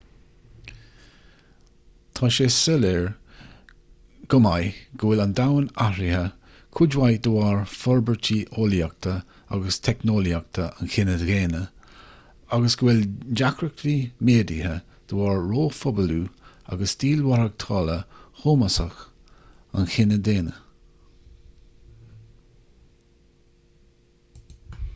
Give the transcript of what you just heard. tá sé soiléir go maith go bhfuil an domhan athraithe cuid mhaith de bharr forbairtí eolaíochta agus teicneolaíochta an chine dhaonna agus go bhfuil deacrachtaí méadaithe de bharr róphobalú agus stíl mhaireachtála shómasach an chine dhaonna